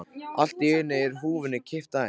Allt í einu er húfunni kippt af henni!